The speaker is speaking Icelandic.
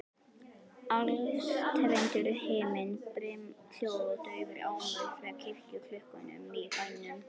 Alstirndur himinn, brimhljóð og daufur ómur frá kirkjuklukkunum í bænum.